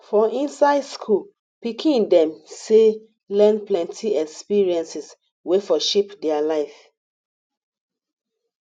for inside school pikin dem sey learn plenty experiences wey for shape their life